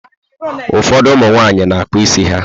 Ụfọdụ ụmụ nwaanyị na-akpụ isi ha.